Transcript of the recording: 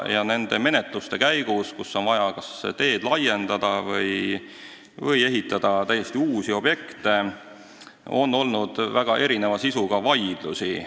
Ja nende menetluste käigus, kus on vaja olnud kas teed laiendada või ehitada täiesti uusi objekte, on olnud väga erineva sisuga vaidlusi.